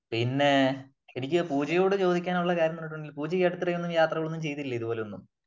പിന്നെ എനിക്ക് പൂജയോട് ചോദിക്കാനുള്ള കാര്യം എന്ന് പറഞ്ഞിട്ടുണ്ടെങ്കിൽ പൂജ ഈ അടുത്തിടെയൊന്നും യാത്രകളൊന്നും ചെയ്തില്ലേ ഇതുപോലൊന്നും ?